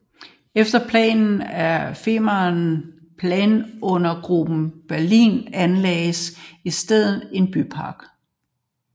Efter planer af Freien planungsgruppe Berlin anlagdes i stedet en bypark